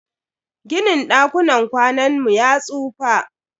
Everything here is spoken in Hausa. Ginin dakunan kwanan mu ya tsufa.